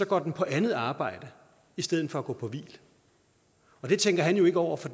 går den på andet arbejde i stedet for at gå på hvil og det tænker han jo ikke over for